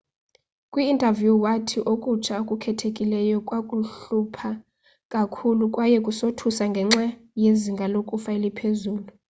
kwi interview wathi okutsha okukhethekileyo kwaku hlupha kakhulu kwaye kusothusa ngenxa yezinga lokufa eliphezulu